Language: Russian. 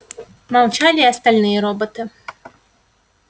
молчали и остальные роботы